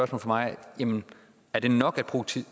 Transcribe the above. fra mig er det nok at